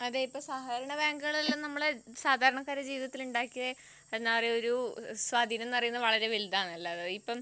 അതെ ഇപ്പൊ സഹകരണ ബാങ്കുകൾ എല്ലാം നമ്മളെ സാധാരണക്കാരുടെ ജീവിതത്തിൽ ഉണ്ടാക്കിയ ഒരു സ്വാധീനം എന്ന് പറയുന്നത് വളരെ വലുതാണ്